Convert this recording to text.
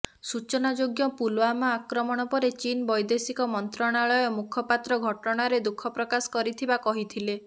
ସୂଚନାଯୋଗ୍ୟ ପୁଲୱାମା ଆକ୍ରମଣ ପରେ ଚୀନ ବୈଦେଶିକ ମନ୍ତ୍ରଣାଳୟ ମୁଖପାତ୍ର ଘଟଣାରେ ଦୁଃଖ ପ୍ରକାଶ କରିଥିବା କହିଥିଲେ